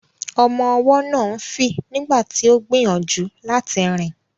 Ọmọ ọwọ́ náà ń fì nígbà tí ó gbìyànjú láti rìn.